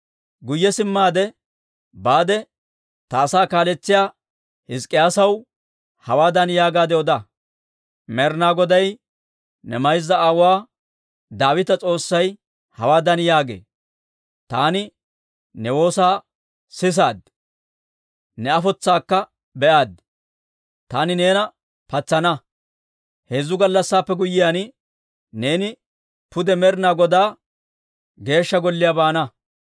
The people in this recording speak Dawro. «Guyye simmaade baade ta asaa kaaletsiyaa Hizk'k'iyaasaw hawaadan yaagaadde oda; ‹Med'ina Goday, ne mayza aawuwaa Daawita S'oossay hawaadan yaagee: «Taani ne woosaa sisaad; ne afotsaakka be'aaddi. Taani neena patsana; heezzu gallassaappe guyyiyaan, neeni pude Med'ina Godaa Geeshsha Golliyaa baana.